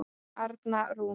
Arna Rún.